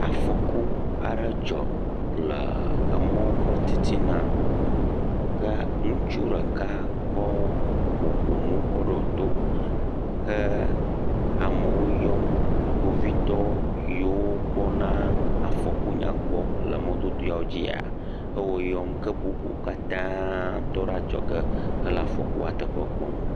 Afɔku are dzɔ le emɔɔ ƒe titina. Ke ŋutsu ɖeka kɔ mɔ̃ƒonu kɔ ɖoo to hee amewo yɔm. Kpovitɔ yiwo kpɔna afɔku yawo gbɔ le mɔdodoewo dzia ewo yɔm. ke bubuwo katã tɔ ɖe adzɔge hele afɔkua teƒe kpɔm.